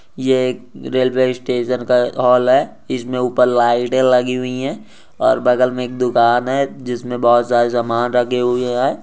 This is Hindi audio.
ये एक रेलवे स्टेशन का हॉल है इसमे ऊपर लाइट ए लगी हुई है और बगल मे दुकान है जिसमे बहुत सारे समान रखे हुए है।